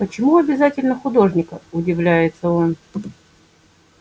почему обязательно художника удивляется он